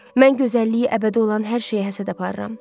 Mən gözəlliyi əbədi olan hər şeyə həsəd aparıram.